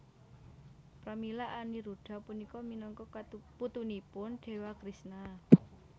Pramila Aniruda punika minangka putunipun Dewa Krishna